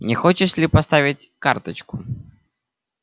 не хочешь ли поставить карточку